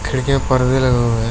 खिड़की में परदे लगे हुए है।